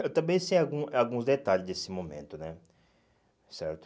Eu também sei algum alguns detalhes desse momento né, certo?